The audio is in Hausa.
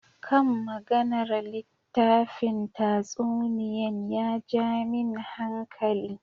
Kan maganar littafin tatsuniyan ya ja min hankali.